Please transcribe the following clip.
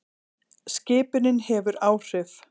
Skipunin hefur áhrif.